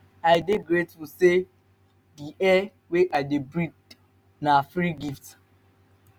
i dey grateful say di air wey i dey breathe na free gift